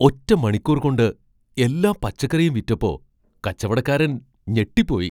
ഒറ്റ മണിക്കൂർ കൊണ്ട് എല്ലാ പച്ചക്കറിയും വിറ്റപ്പോ, കച്ചവടക്കാരൻ ഞെട്ടിപ്പോയി.